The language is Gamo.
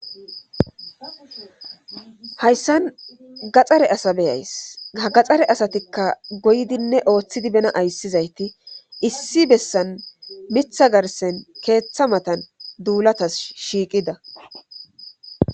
hayssan gaxxare asa be7ays hagaxxare asatikka goydinne ooththidi bena ayssizayti issi bessan mitha garsen keeththa matan duulatas shiiqida